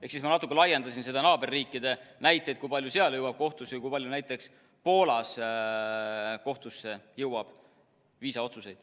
Ehk siis ma natuke laiendasin naaberriikide näiteid, kui palju seal jõuab kohtusse või kui palju näiteks Poolas jõuab kohtusse viisaotsuseid.